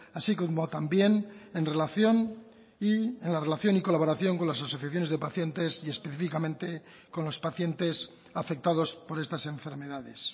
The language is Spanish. así como también en relación y en la relación y colaboración con las asociaciones de pacientes y específicamente con los pacientes afectados por estas enfermedades